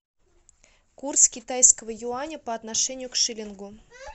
курс китайского юаня по отношению к шиллингу